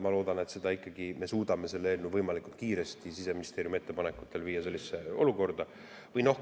Ma loodan, et me ikkagi suudame selle eelnõu võimalikult kiiresti Siseministeeriumi ettepanekuid arvestades viia sellisesse.